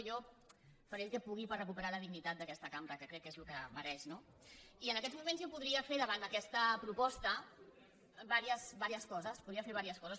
jo faré el que pugui per recuperar la dignitat d’aquesta cam·bra que crec que és el que mereix no i en aquests moments jo podria fer davant aquesta proposta diverses coses podria fer diverses coses